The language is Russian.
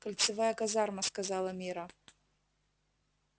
кольцевая казарма сказала мирра